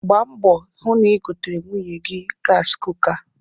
Gbaa mbọ hụ na i goteere nwunye gasị kuka.